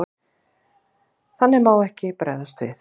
Þannig má ekki bregðast við.